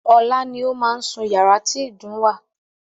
Ọlá ni ó máa sún yàrá tí ìdun wà.